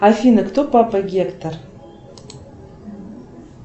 афина кто папа гектор